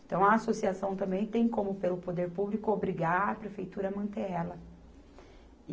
Então, a associação também tem como, pelo poder público, obrigar a prefeitura a manter ela.